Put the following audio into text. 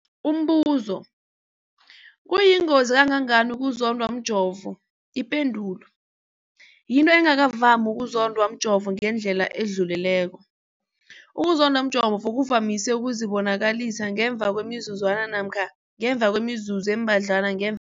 Umbuzo, kuyingozi kangangani ukuzondwa mjovo? Ipendulo, yinto engakavami ukuzondwa mjovo ngendlela edluleleko. Ukuzondwa mjovo kuvamise ukuzibonakalisa ngemva kwemizuzwana namkha ngemva kwemizuzu embadlwana ngem